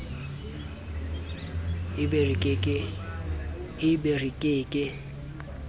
e be re ke ke